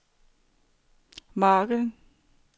margen